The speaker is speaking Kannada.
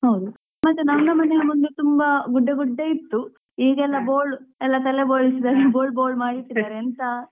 ಹೌದು ಮತ್ತೇ ನಮ್ಮ ಮನೆಯೆಲ್ಲಾ ಮೊದ್ಲು ಗುಡ್ಡೆ ಗುಡ್ಡೆ ಇತ್ತು ಈಗೆಲ್ಲಾ ಬೋಳ್ ಎಲ್ಲ ತಲೆ ಬೋಳ್ಸಿದಾಗೆ ಬೋಳ್ ಬೋಳ್ ಮಾಡಿಇಟ್ಟಿದ್ದಾರೆ ಎಂತ ಹೌದು,